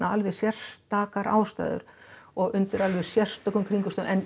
alveg sérstakar ástæður og undir alveg sérstökum kringumstæðum en